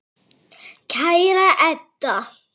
Kæra Edda.